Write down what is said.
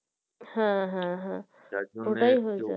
হ্যাঁ হ্যাঁ হ্যাঁ ওটাই হয়েছে।